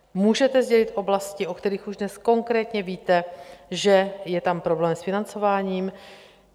Můžete sdělit oblasti, o kterých už dnes konkrétně víte, že je tam problém s financováním?